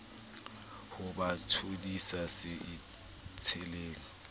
ho ba thodisa se itsheleng